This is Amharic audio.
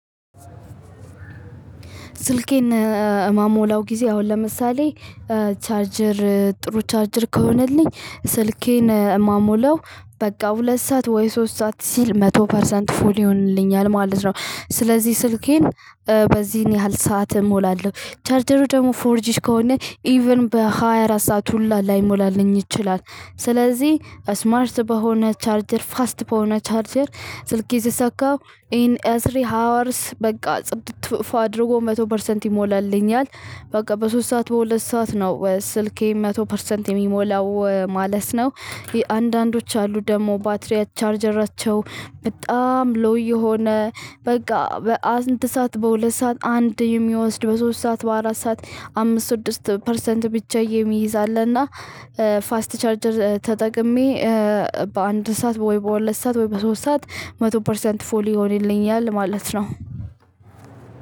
ስልኬን ምሞላው ጊዜ አሁን ለምሳሌ ቻርጀር ጥሩ ቻርጅር ከሆነልኝ ስልኬን ምሞላው በቃ ሁለት ሰዓት ወይ ሶስት ሰዓት ሲል መቶ ፐርሰንት ፉል ይሆንልኛል ማለት ነው። ስለዚህ ስልኬን በዚህን ያህል ሰዓት እሞላለሁ ቻርጀሩ ደግሞ ፎርጂድ ከሆነ ኢቭን በሃያ አራት ሰዓት ሁላ ላይሞላልኝ ይችላል። ስለዚህ አስማርት በሆነ ቻርጀር ፋስት በሆነ ቻርጀር ስልኬ የሰካው ኢን ኤ ስሪ ሃወርስ በቃ ጽድት ፏ አድርጎ መቶ ፐርሰንት ይሞላልኛል። በቃ በሶስት ሰዓት በሁለት ሰዓት ነው ስልኬ መቶ ፐርሰንት የሚሞላው ማለት ነው። አንዳንዶች አሉ ደግሞ ባትሪ ቻርጀራቸው በጣም ሎው የሆነ በቃ በአንድ ሰዓት በሁለት ሰዓት አንድ የሚወስድ በሶስት ሰዓት በአራት ሰዓት አምስት ስድስት ፐርሰንት ብቻ የሚይዝ እና ፋስት ቻርጀር ተጠቅሜ። በአንድ ስዓት ወይ በሁለት ስዓት ወይ በሶስት ስዓት መቶ ፐርሰንት ፉል ይሆንልኛል ማለት ነው።